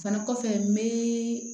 Fana kɔfɛ n bɛ